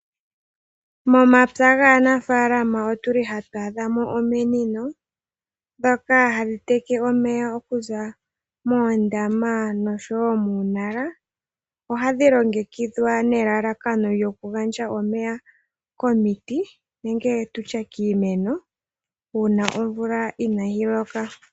Momapya gaanafalama otuli hatu adhamo ominino dhoka hadhi teke omeya okuza moondama nosho woo muunala ohadhi longekidhwa nelalakano lyokugandja omeya komiti nenge tutye kiimeno uuna omvula inayi loka.